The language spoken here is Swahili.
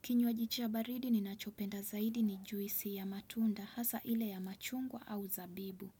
Kinywaji cha baridi ninachopenda zaidi ni juisi ya matunda hasa ile ya machungwa au zabibu.